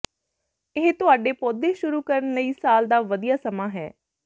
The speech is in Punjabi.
ਇਹ ਤੁਹਾਡੇ ਪੌਦੇ ਸ਼ੁਰੂ ਕਰਨ ਲਈ ਸਾਲ ਦਾ ਵਧੀਆ ਸਮਾਂ ਹੈ